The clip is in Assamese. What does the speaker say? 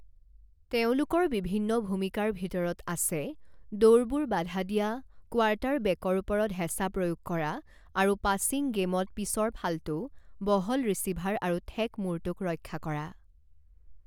তেওঁলোকৰ বিভিন্ন ভূমিকাৰ ভিতৰত আছে দৌৰবোৰ বাধা দিয়া, কোৱাৰ্টাৰবেকৰ ওপৰত হেচা প্ৰয়োগ কৰা আৰু পাছিং গেমত পিছৰ ফালটো, বহল ৰিচিভাৰ আৰু ঠেক মুৰটোক ৰক্ষা কৰা।